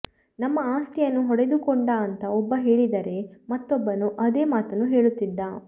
ನಮ್ಮ ಆಸ್ತಿಯನ್ನು ಹೊಡೆದುಕೊಂಡ ಅಂತ ಒಬ್ಬ ಹೇಳಿದರೆ ಮತ್ತೊಬ್ಬನೂ ಅದೇ ಮಾತನ್ನು ಹೇಳುತ್ತಿದ್ದ